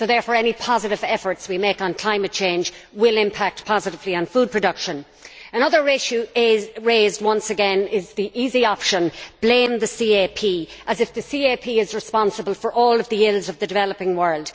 So any positive efforts we make on climate change will impact positively on food production. Another issue raised once again is the easy option blame the CAP as if the CAP were responsible for all of the ills of the developing world.